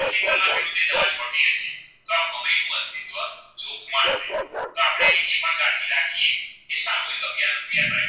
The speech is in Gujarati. રાખીયે એ સામુહિક અભ્યાન